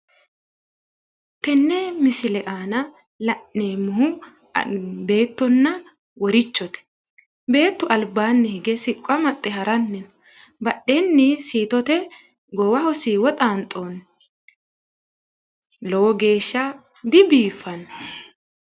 tenne misile aana la'neemmohu beettonna worichote, beettu albaanni hige siqqo amaxxe haranna badheenni siitote goowaho siiwo xaanxoonni lowo geeshsha dibiiffanno.